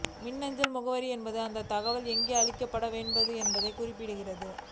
மின்னஞ்சல் முகவரி என்பது அந்தத் தகவல் எங்கே அளிக்கப்பட வேண்டும் என்பதைக் குறிக்கிறது